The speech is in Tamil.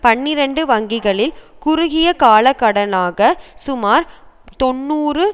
பனிரண்டு வங்கிகளில் குறுகிய கால கடனாக சுமார் தொன்னூறு